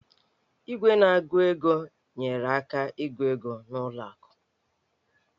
Igwe na-agụ ego nyeere aka ịgụ ego n'ụlọ akụ